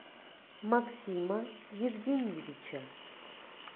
максима евгеньевича